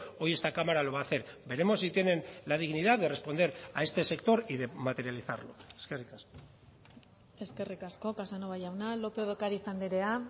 hoy esta cámara lo va a hacer veremos si tienen la dignidad de responder a este sector y de materializarlo eskerrik asko eskerrik asko casanova jauna lópez de ocariz andrea